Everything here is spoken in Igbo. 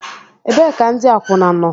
Ebee ka ndi akwuna nọ?